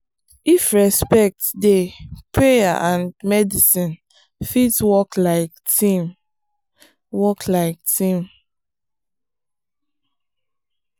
if respect dey prayer and medicine fit work like team. work like team.